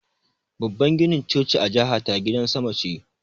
Babban ginin choci a jihata gidan sama ce